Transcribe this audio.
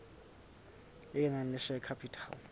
e nang le share capital